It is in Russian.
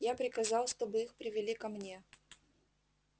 я приказал чтобы их привели ко мне